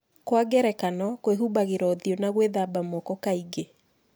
Kwa ngerekano, kwĩhumbagĩra ũthiũ na gwĩthamba moko kaingĩ.